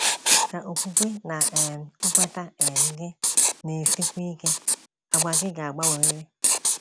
Ka okwukwe na um nkweta um gị na - esikwu ike, àgwà gị ga - agbanwerịrị.